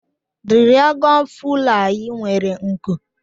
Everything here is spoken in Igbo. Diragọn fulayi nwere nku